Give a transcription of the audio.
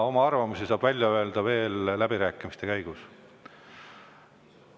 Oma arvamusi saab välja öelda veel läbirääkimiste käigus.